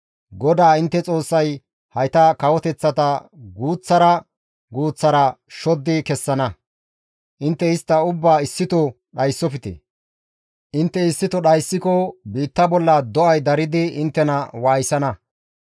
GODAA intte Xoossay hayta kawoteththata guuththara guuththara shoddi kessana; intte istta ubbaa issito dhayssofte; intte issito dhayssiko biitta bolla do7ay daridi inttena waayisana.